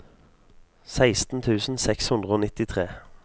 seksten tusen seks hundre og nittitre